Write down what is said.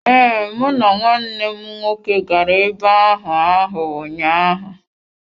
Ee, mụ na nwanne m nwoke gara ebe ahụ ahụ ụnyaahụ.